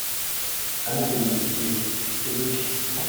английский изучить